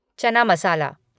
चना मसाला